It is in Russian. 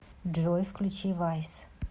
джой включи вайс